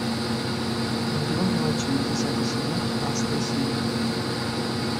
миллион мелочей десятый сезон пятнадцатая серия